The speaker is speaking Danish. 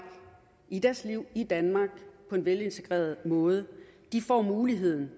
i deres liv i danmark på en velintegreret måde får muligheden